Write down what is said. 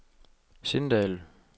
Sindal